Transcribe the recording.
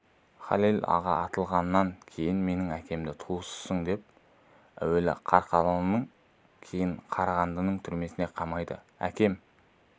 халел аға атылғаннан кейін менің әкемді туысысың деп әуелі қарқаралының кейін қарағандының түрмесіне қамайды әкем